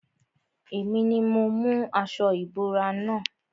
Èmi ni mo mú aṣo ìbora na.